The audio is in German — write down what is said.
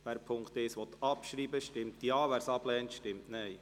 Wer Punkt 1 abschreiben will, stimmt Ja, wer dies ablehnt, stimmt Nein.